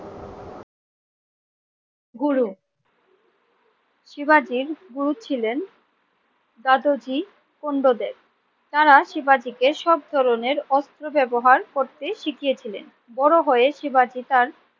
গুরু, শিবাজীর গুরু ছিলেন দাদাজী কুন্দদেব। তারা শিবাজীকে সব ধরনের অস্ত্র ব্যবহার করতে শিখিয়েছিলেন। বড় হয়ে শিবাজী তার